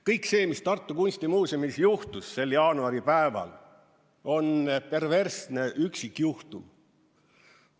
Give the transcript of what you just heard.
Kõik see, mis Tartu Kunstimuuseumis juhtus sel jaanuaripäeval, on perversne üksikjuhtum.